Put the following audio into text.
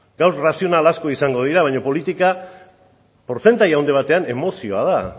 gaur arrazionala asko izango dira baino politika portzentaje handi batean emozioa da